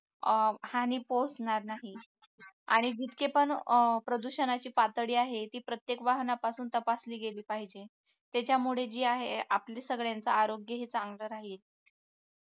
हानी पोचणार नाही आणि जितके पण प्रदूषणाची पातळी आहे ती प्रत्येक वाहनापासून तपासली गेली पाहिजे त्याच्यामुळे जे आहे आपली सगळ्यांचा आरोग्यही चांगलं राहील